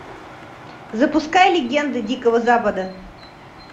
запускай легенды дикого запада